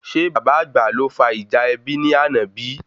Ṣe bàbá àgbà ló fa ìjà ẹbí ní àna bíi?